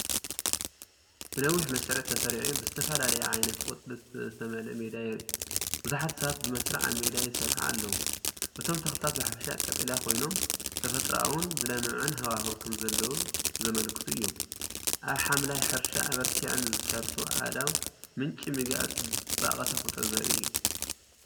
ብነዊሕ መስርዕ ተሰሪዑ ብዝተፈላለየ ዓይነት ቆጽሊ ዝተመልአ ሜዳ የርኢ። ብዙሓት ሰባት ብመስርዕ ኣብ ሜዳ ይሰርሑ ኣለዉ። እቶም ተኽልታት ብሓፈሻ ቀጠልያ ኮይኖም፡ተፈጥሮኣውን ዝለምዕን ሃዋህው ከምዘለዉ ዘመልክቱ እዮም። ኣብ ሓምላይ ሕርሻ ኣበርቲዐን ዝሰርሑ ኣእዳው፡ምንጪ ምግቢ ኣብ ጽባቐ ተፈጥሮ ዘርኢ እዩ።